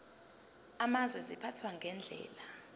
amazwe ziphathwa ngendlela